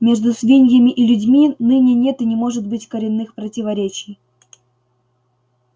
между свиньями и людьми ныне нет и не может быть коренных противоречий